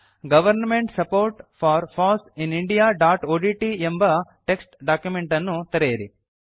government support for foss in indiaಒಡಿಟಿ ಎಂಬ text document ಅನ್ನು ತೆರೆಯಿರಿ